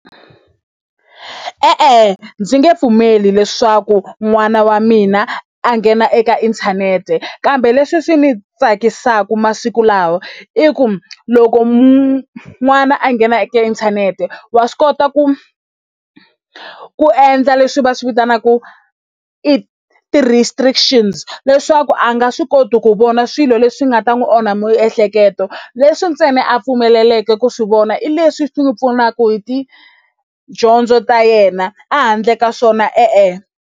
E-e, ndzi nge pfumeli leswaku n'wana wa mina a nghena eka inthanete kambe leswi swi ni tsakisaka masiku lawa i ku loko n'wana a nghena eka inthanete wa swi kota ku ku endla leswi va swi vitanaka i ti-restrictions leswaku a nga swi koti ku vona swilo leswi nga ta n'wi onha miehleketo leswi ntsena a pfumeleleka ku swi vona i leswi swi pfunaka hi tidyondzo ta yena a handle ka swona e-e.